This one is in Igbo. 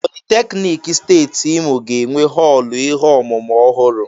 Politeknik Steeti Imo ga-enwe họọlụ ihe ọmụmụ ọhụrụ.